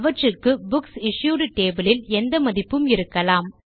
அவற்றுக்கு books issued table யில் எந்த மதிப்பும் இருக்கலாம்